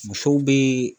Musow be